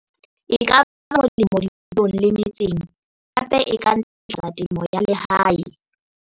e ka ba molemo dikolong le metseng hape e ka ntlafatsa temo ya lehae.